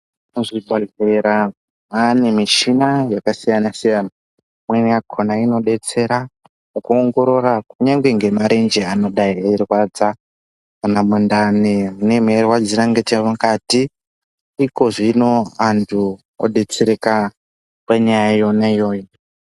Muzvibhedhlera mane michina yakasiyana siyana imweni yakona inodetsera mukuongorora nemarenje anenge eirwadza kana mundani munenge meirwadzira nemukati ikozvino vantu vodetsereka panyaya yona iyoyo.